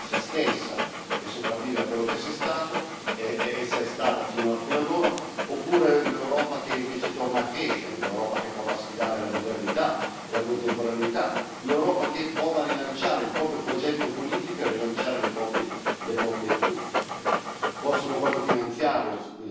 C'è un'Europa che sopravvive a se stessa e sopravvive a quello che essa è stata fino ad ora, oppure c'è un'Europa che invece torna a crescere, un'Europa che prova a sfidare la modernità e la contemporaneità, un'Europa che prova a rilanciare il proprio progetto politico e a rilanciare le proprie politiche.